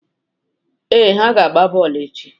Ee, ha ga-agba bọọlụ echi.